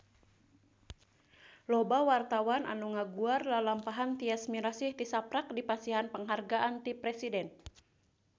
Loba wartawan anu ngaguar lalampahan Tyas Mirasih tisaprak dipasihan panghargaan ti Presiden